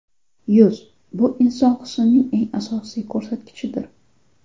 Yuz – bu inson husnining eng asosiy ko‘rsatkichidir.